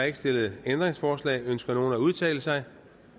ikke stillet ændringsforslag ønsker nogen at udtale sig